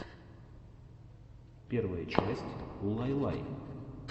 первая часть улайлай